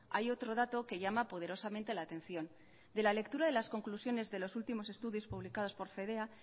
hay otro dato que llama poderosamente la atención de la lectura de las conclusiones de los últimos estudios publicados por fedea